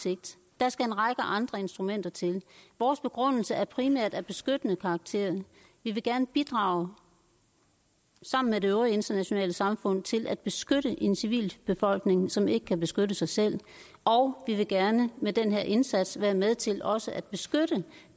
sigt der skal en række andre instrumenter til vores begrundelse er primært af beskyttende karakter vi vil gerne bidrage sammen med det øvrige internationale samfund til at beskytte en civilbefolkning som ikke kan beskytte sig selv og vi vil gerne med den her indsats være med til også at beskytte